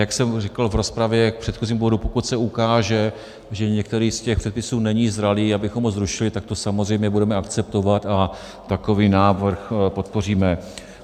Jak jsem říkal v rozpravě k předchozímu bodu, pokud se ukáže, že některý z těch předpisů není zralý, abychom ho zrušili, tak to samozřejmě budeme akceptovat a takový návrh podpoříme.